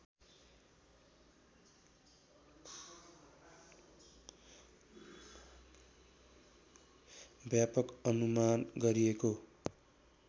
व्यापक अनुमान गरिएको